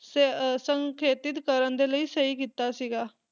ਸੇ ਅਹ ਸੰਖੇਤਿਤ ਕਰਨ ਦੇ ਲਈ ਸਹੀ ਕੀਤਾ ਸੀਗਾ